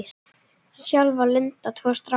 Sjálf á Linda tvo stráka.